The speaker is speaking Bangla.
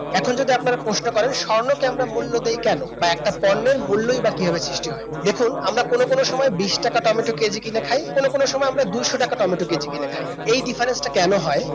এখন যদি আপনারা প্রশ্ন করেন স্বর্ণকে আমরা মূল্য দিই কেন বা একটা পণ্যের মূল্যই বা কিভাবে সৃষ্টি হয় দেখুন আমরা কোন কোন সময় বিশ টাকা টমেটো কেজি কিনে খায় কোন কোন সময় আমরা দুশো টাকা টমেটো কেজি কিনে খাই এই difference কেন হয়